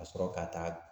Ka sɔrɔ ka taa